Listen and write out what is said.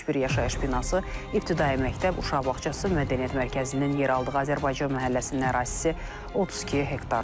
71 yaşayış binası, ibtidai məktəb, uşaq bağçası, Mədəniyyət Mərkəzinin yer aldığı Azərbaycan məhəlləsinin ərazisi 32 hektardır.